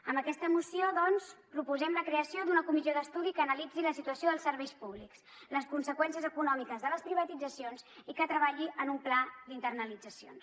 amb aquesta moció doncs proposem la creació d’una comissió d’estudi que analitzi la situació dels serveis públics les conseqüències econòmiques de les privatitzacions i que treballi en un pla d’internalitzacions